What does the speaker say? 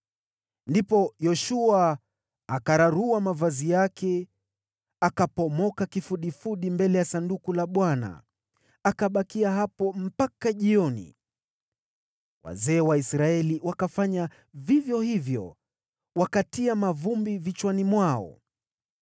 Ndipo Yoshua akayararua mavazi yake, akaanguka kifudifudi mbele ya Sanduku la Bwana , na akabakia hapo mpaka jioni. Wazee wa Israeli nao wakafanya vivyo hivyo wakatia mavumbi vichwani mwao.